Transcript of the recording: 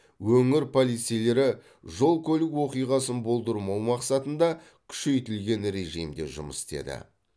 өңір полицейлері жол көлік оқиғасын болдырмау мақсатында күшейтілген режимде жұмыс істеді